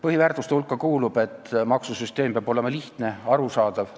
Põhiväärtuste hulka kuulub see, et maksusüsteem peab olema lihtne ja arusaadav.